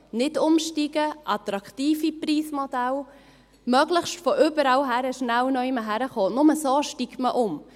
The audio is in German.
Nicht umsteigen, attraktive Preismodelle, möglichst von überall her überall hinkommen, nur so steigt man um.